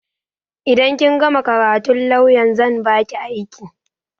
Idan kin gama karatun lawyan zan baki aiki